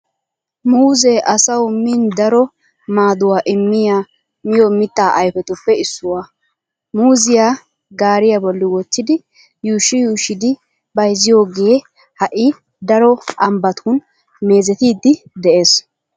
Muuzee asawu min daro maaduwaa immiya miyo mitta ayfetuppe issuwaa. Muuziyaa gaariyaa bolli wottidi yuushshi yuushshidi bayziyogee ha'i daro ambbatun meezettiiddi de"ees.